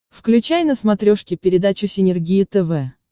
включай на смотрешке передачу синергия тв